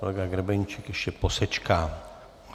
Kolega Grebeníček ještě posečká.